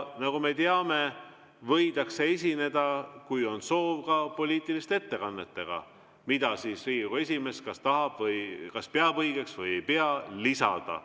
Nagu me teame, võidakse esineda, kui on soov, ka poliitiliste ettekannetega, mida Riigikogu esimees kas peab õigeks lisada või ei pea õigeks lisada.